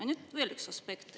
Ja nüüd veel üks aspekt.